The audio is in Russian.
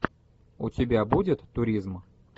у тебя будет туризм